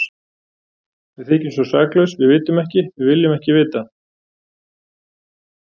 Við þykjumst svo saklaus, við vitum ekki, við viljum ekki vita.